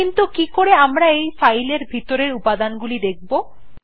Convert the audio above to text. কিন্তু কিকরে আমরা এই ফাইলটির ভিতরের উপাদান গুলো দেখব 160